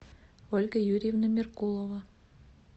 ольга юрьевна меркулова